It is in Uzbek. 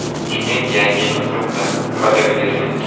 Toshkent Yangi yilni kutmoqda (fotogalereya).